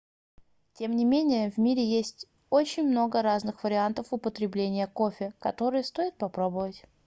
тем не менее в мире есть очень много разных вариантов употребления кофе которые стоит попробовать